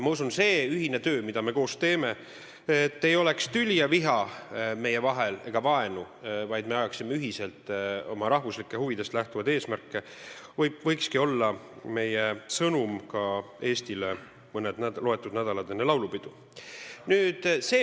Ma usun, see ühine töö, mida me koos teeme, et meie vahel ei oleks tüli, viha ega vaenu, vaid me taotleksime ühiselt oma rahvuslikest huvidest lähtuvaid eesmärke, võikski olla meie sõnum Eestile mõni nädal enne laulupidu.